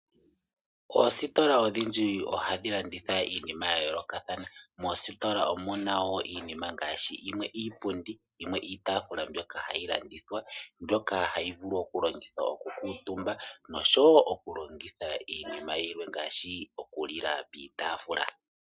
Oositola odhindji ohadhi landitha iinima yayolokathana. Moositola omuna wo iinima ngaashi yimwe iipundi, iitafula mbyoka hayi landithwa. Mbyoka hayi vulu oku longithwa oku kuutumba noshowo oku longithwa iinima yilwe ngaashi ngaa oku lila piitafula.